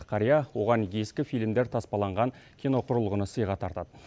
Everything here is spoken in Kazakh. қария оған ескі фильмдер таспаланған киноқұрылғыны сыйға тартады